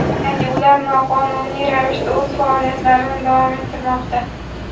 Ya’ni ular noqonuniy ravishda o‘z faoliyatlarini davom ettirmoqda.